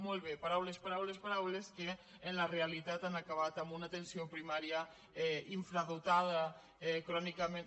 molt bé paraules paraules paraules que en la realitat han acabat amb una atenció primària infradotada crònicament